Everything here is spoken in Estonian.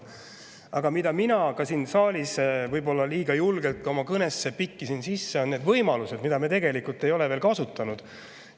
Aga mida mina ka siin saalis võib-olla liiga julgelt oma kõnesse pikkisin sisse, on need võimalused, mida me tegelikult ei ole veel kasutanud.